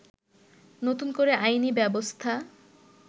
নতুন করে আইনি ব্যবস্থা